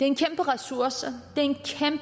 en kæmpe ressource